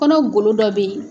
Kɔnɔ golo dɔ bɛ ye.